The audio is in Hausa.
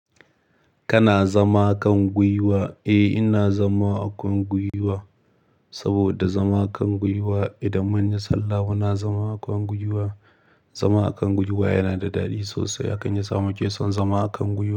Kana zama a kan gwiwa? Eh, ina zama a kan gwiwa. Saboda zama a kan gwiwa idan mun yi sallah muna zama a kan gwiwa. Zama a kan gwiwa yana da daɗi sosai, hakan yasa muke son zama a kan gwiwa.